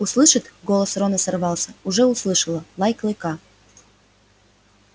услышит голос рона сорвался уже услышало лай клыка